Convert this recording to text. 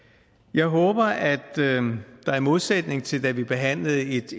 jeg håber at der i modsætning til da vi behandlede et